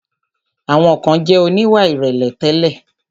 Àwọn kan jẹ̀ oníwà ìrẹ̀lẹ̀ tẹ́lẹ̀.